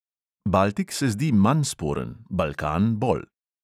Baltik se zdi manj sporen, balkan bolj.